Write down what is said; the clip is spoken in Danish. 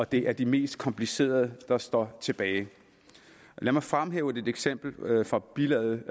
det er de mest komplicerede der står tilbage lad mig fremhæve et eksempel fra bilaget